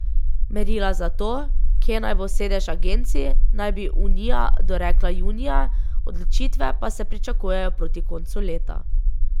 Merila za to, kje naj bo sedež agencij, naj bi unija dorekla junija, odločitve pa se pričakujejo proti koncu leta.